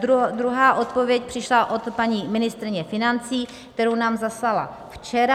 Druhá odpověď přišla od paní ministryně financí, kterou nám zaslala včera.